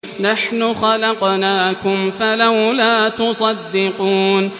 نَحْنُ خَلَقْنَاكُمْ فَلَوْلَا تُصَدِّقُونَ